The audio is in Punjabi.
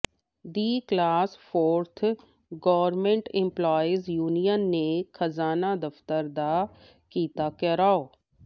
ਦੀ class fourth government employees union ਨੇ ਖਜ਼ਾਨਾ ਦਫ਼ਤਰ ਦਾ ਕੀਤਾ ਿਘਰਾਓ